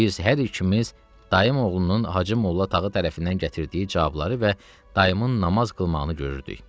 Biz hər ikimiz dayım oğlunun Hacı Molla Tağı tərəfindən gətirdiyi cavabları və dayımın namaz qılmağını görürdük.